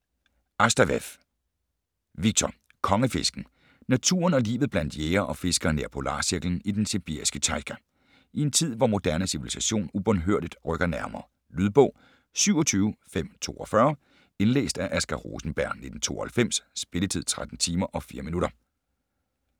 Astaf'ev, Viktor: Konge-fisken Naturen og livet blandt jægere og fiskere nær polarcirklen i den sibiriske tajga - i en tid hvor moderne civilisation ubønhørligt rykker nærmere. Lydbog 27542 Indlæst af Asger Rosenberg, 1992. Spilletid: 13 timer, 4 minutter.